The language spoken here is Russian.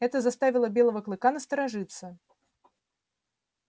это заставило белого клыка насторожиться